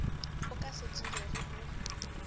o ka se tsogego o